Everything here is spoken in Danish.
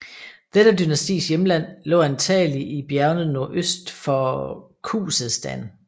Dette dynastis hjemland lå antagelig i bjergene nordøst for Khuzestan